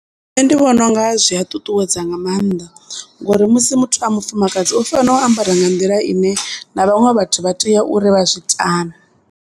Nṋe ndi vhona unga zwi a ṱuṱuwedza nga mannḓa ngori musi muthu a mufumakadzi u fanela u ambara nga nḓila ine na vhaṅwe vhathu vha tea uri vha zwi tame.